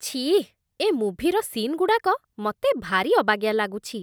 ଛିଃ! ଏ ମୁଭିର ସିନ୍‌ଗୁଡ଼ାକ ମତେ ଭାରି ଅବାଗିଆ ଲାଗୁଛି ।